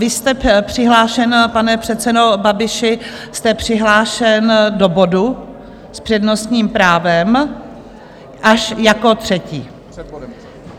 Vy jste přihlášen, pane předsedo Babiši, jste přihlášen do bodu s přednostním právem až jako třetí.